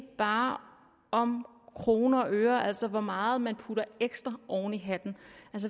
bare om kroner og øre altså hvor meget man putter ekstra oven i hatten